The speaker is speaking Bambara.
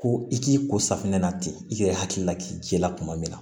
Ko i k'i ko safunɛ na ten i yɛrɛ hakili la k'i jila tuma min na